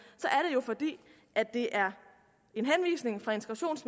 jo fordi det er